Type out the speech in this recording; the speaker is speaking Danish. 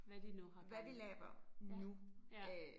Hvad de nu har gang i. Ja ja